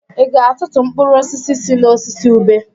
Ị ga-atụtụ mkpụrụ osisi si n'osisi ube?